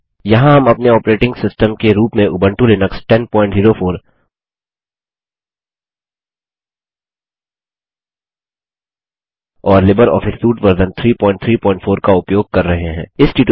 यहाँ हम अपने ऑपरेटिंग सिस्टम के रूप में उबंटू लिनक्स 1004 और लिबरऑफस सूट वर्जन 334 का उपयोग कर रहे हैं